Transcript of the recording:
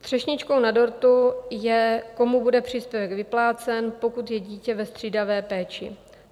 Třešničkou na dortu je, komu bude příspěvek vyplácen, pokud je dítě ve střídavé péči.